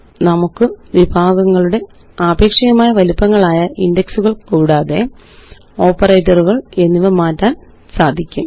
നമുക്ക് വിഭാഗങ്ങളുടെ ആപേക്ഷികമായ വലിപ്പങ്ങളായ ഇന്റക്സുകള് കൂടാതെ ഓപ്പറേറ്ററുകള് എന്നിവ മാറ്റാന് സാധിക്കും